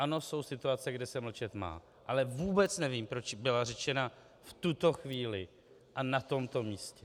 Ano, jsou situace, kde se mlčet má, ale vůbec nevím, proč byla řečena v tuto chvíli a na tomto místě.